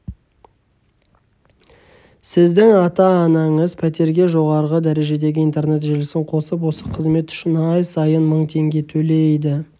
сіздің ата анаңыз пәтерге жоғарғы дәрежедегі интернет желісін қосып осы қызмет үшін ай сайын мың теңге төлейді